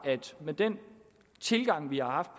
den tilgang vi har haft